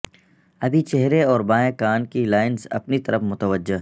ابھی چہرے اور بائیں کان کی لائنز اپنی طرف متوجہ